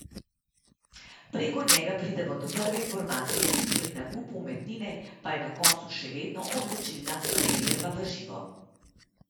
Preko njega pridemo do prve informacije, pri nakupu umetnine pa je na koncu še vedno odločilna preverba v živo.